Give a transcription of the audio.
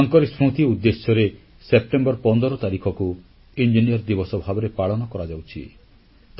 ତାଙ୍କରି ସ୍ମୃତି ଉଦ୍ଦେଶ୍ୟରେ ସେପ୍ଟେମ୍ବର 15 ତାରିଖକୁ ଇଞ୍ଜିନିୟର ଦିବସ ଭାବରେ ପାଳନ କରାଯାଉଛି